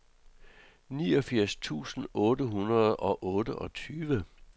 niogfirs tusind otte hundrede og otteogtyve